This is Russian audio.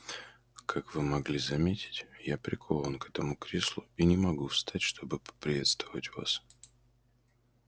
как вы могли заметить я прикован к этому креслу и не могу встать чтобы поприветствовать вас